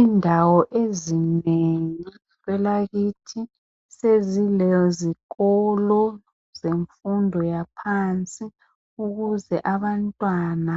Indawo ezinengi kwelakithi sezilezikolo zemfundo yaphansi ukuze abantwana